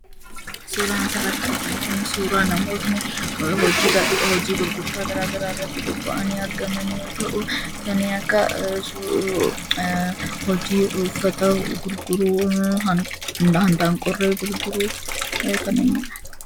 Suuraan asirratti arginu kuni suuraa namootni hojii gurgurtaa garagaraarratti bobba'anii argaman yoo ta'u, kanneen akka hojii uffata gurguruu, handaaqqoollee gurguruu kanneenidha.